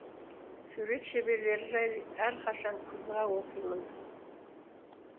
сурет шеберлері жайлы әрқашан қызыға оқимын